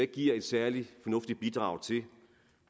giver et særlig fornuftigt bidrag til